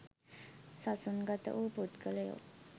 සසුන්ගත වූ පුද්ගලයෝ